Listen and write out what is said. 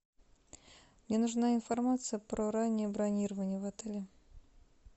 мне нужна информация про раннее бронирование в отеле